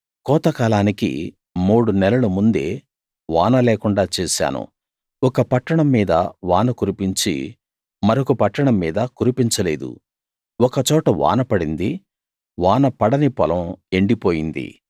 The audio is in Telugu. కోతకాలానికి మూడు నెలలు ముందే వానలేకుండా చేశాను ఒక పట్టణం మీద వాన కురిపించి మరొక పట్టణం మీద కురిపించలేదు ఒక చోట వాన పడింది వాన పడని పొలం ఎండిపోయింది